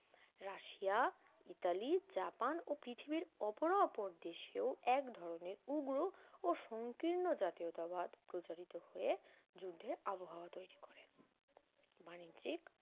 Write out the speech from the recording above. Russia Italy Japan ও পৃথিবীর অপরাপর দেশেও এক ধরনের উগ্র ও সংকীর্ণ জাতীয়তাবাদ প্রচারিত হয়ে যুদ্ধের আবহাওয়া তৈরী করে বাণিজ্যিক